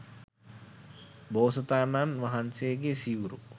බෝසතාණන් වහන්සේගේ සිවුරු